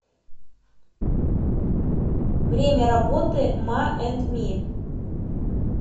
время работы ма энд ми